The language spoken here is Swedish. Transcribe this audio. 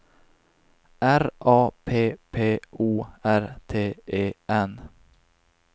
R A P P O R T E N